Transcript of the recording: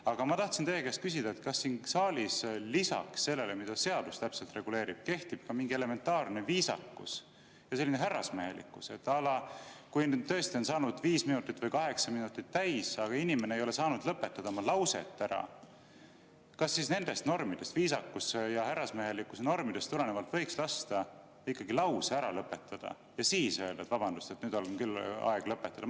Aga ma tahtsin teie käest küsida, kas siin saalis lisaks sellele, mida seadus täpselt reguleerib, kehtib ka mingi elementaarne viisakus, selline härrasmehelikkus, à la kui tõesti on saanud viis või kaheksa minutit täis, aga inimene ei ole saanud oma lauset lõpetada, kas siis nendest normidest, viisakus‑ ja härrasmehelikkuse normidest tulenevalt võiks lasta lause ära lõpetada ja siis öelda, et vabandust, nüüd on küll aeg lõpetada.